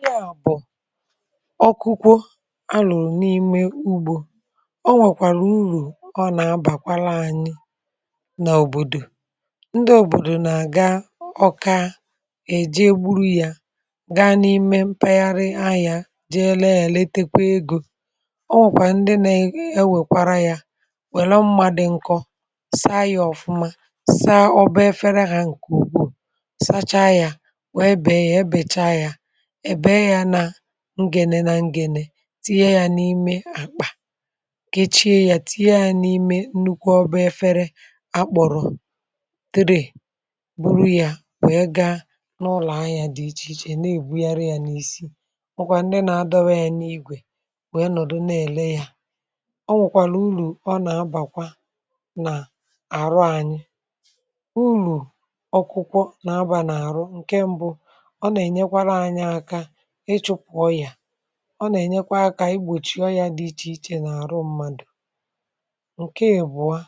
Ihe a bu ọkụku alu n’ime ugbȯ, o nwèkwàrà urù ọ nà-abàkwalȧ anyị n’òbòdò, ndị òbòdò nà-àga ọka è jee gburu ya gaa n’ime mpaghara ahịȧ jee ree yȧ retekwa egȯ, ọ nwèkwà ndị na-ewèkwara ya wère mma di nkọ saa ya ọfụma saa ọbȧ efere hȧ ǹkè ùkwu sacha ya wee bèe ya ebecha ya bee ya ngènè nà ngènè tinye yȧ n’ime àkpà kechie yȧ tiiye yȧ n’ime nnukwu ọba ẹfẹrẹ akpọ̀rọ̀ tray bụrụ yȧ wee ga n’ụlọ̀ ahịȧ dị̇ ichè ichè na-èbugharị yȧ n’isi. O nwekwa ndị nà-adọwȧ yȧ n’igwè wèe nọ̀dụ na-èle yȧ ọ nwọ̀kwàlà urù ọ nà-abàkwa nà àrụ anyị̇, urù ọkụkụ nà abà nà-àrụ; ǹkè mbụ̇ ọ nà-ènyekwara anyi akȧ igbòchi ọyȧ dị ichè ichè n’àrụ mmadù, ǹke ibụ̀ọ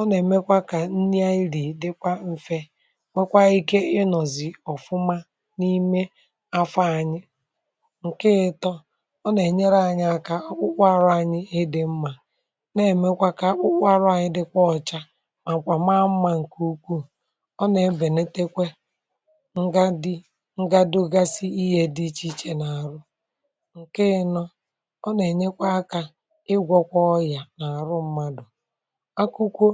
ọ nà-èmekwa kà nrị anyi rii dịkwa mfė nwekwa ike ịnọ̀zị ọ̀fụma n’ime afọ anyị, ǹke itọ ọ nà-ènyere anyị akȧ akpụkpo arụ anyị ịdị̇ mmȧ nà-èmekwa kà akpụkparụ anyị dịkwa ọcha màkwà maa mmȧ ǹkè ukwuù ọ nà-ebènetekwe ngadogasi dị iche iche n'aru ǹke ino ọ nà-ènyekwa akȧ ịgwọ̇kwa ọyà n’àrụ mmadù. akụkụ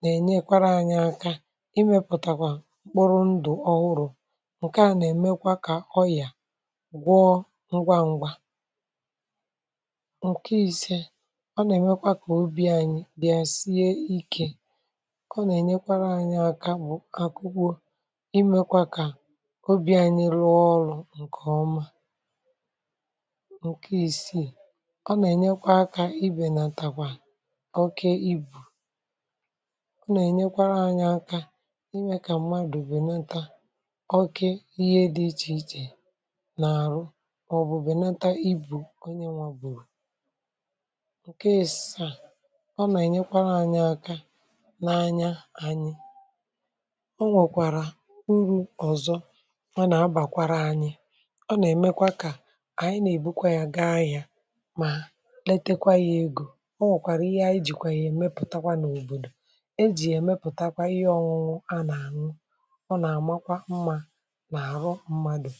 nà-ènyekwara anyị akȧ imėpụ̀tàkwà mkpụrụ ndụ̀ ọhụrụ̇ ǹke à nà-èmekwa kà ọyà gwọ ngwa ngwa ǹke ise ọ nà-èmekwa kà obi anyị bịa sie ikė ọ nà-ènyekwara anyị akȧ bụ̀ akụkụ imekwa kà obi anyị rụọ ọrụ̇ nke oma, ǹke isiì ọ nà-ènyekwa aka ibè nà-àtakwa oke ibù ọ nà-ènyekwara anyị aka imė kà m̀madụ̀ bènata oke ihe dị ichè ichè nà àrụ mà ọ̀ bụ̀ bènata ibù onye nwà bùrù ǹke asaa ọ nà-ènyekwara anyị aka n’anya anyị o nwèkwàrà urù ọ̀zọ ọ nà-abàkwara anyị o na emekwa ka anyi n'ebukwa ya gaa ahia, ma letekwa ya egȯ, ọ nwekwàrà ihe anyị jìkwà ya èmepụ̀takwa n’òbòdò e jì ya èmepụ̀takwa ihe ọ̀ṅụ̀ṅụ̀ a nà-àṅụ ọ nà-àmakwa mmȧ nà-àrụ mmadù.